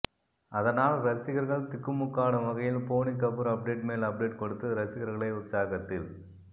அதனால் ரசிகர்கள் திக்குமுக்காடும் வகையில் போனி கபூர் அப்டேட் மேல் அப்டேட் கொடுத்து ரசிகர்களை உற்சாகத்தில்